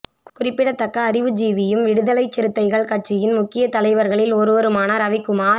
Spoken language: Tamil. குறிப்பிடத்தக்க அறிவுஜீவியும் விடுதலைச் சிறுத்தைகள் கட்சியின் முக்கிய தலைவர்களில் ஒருவருமான ரவிகுமார்